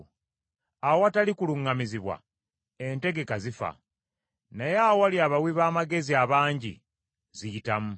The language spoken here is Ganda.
Awatali kuluŋŋamizibwa entegeka zifa, naye awali abawi b’amagezi abangi ziyitamu.